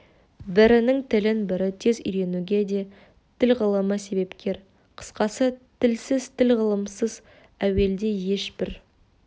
бірінің тілін бірі тез үйренуге де тіл ғылымы себепкер қысқасы тілсіз тіл ғылымынсыз әуелде еш бір